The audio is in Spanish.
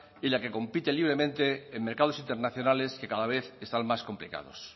y la que compite libremente en mercados internacionales que cada vez están más complicados